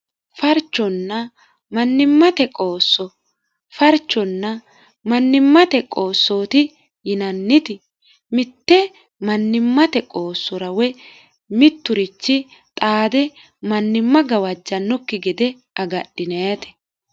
farchonna mannimmate qoosso farchonna mannimmate qoossooti yinanniti mitte mannimmate qoossora woy mitturichi xaade mannimma gawajjannokki gede agadhineeti